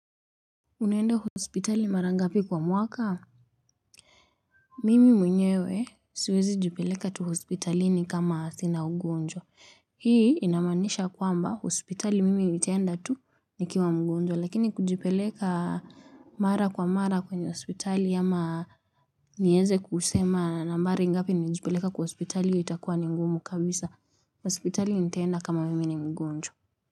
Unaenda hospitali mara ngapi kwa mwaka? Mimi mwenyewe siwezi jipeleka tu hospitalini kama sina ugonjwa. Hii inamaanisha kwamba hospitali mimi nitaenda tu nikiwa mgonjwa lakini kujipeleka mara kwa mara kwenye hospitali ama niweze kusema nambari ngapi nimejipeleka kwa hospitali itakuwa ni ngumu kabisa hospitali nitaenda kama mimi ni mgonjwa.